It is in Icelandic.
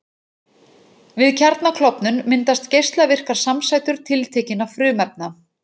Við kjarnaklofnun myndast geislavirkar samsætur tiltekinna frumefna.